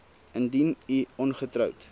indien u ongetroud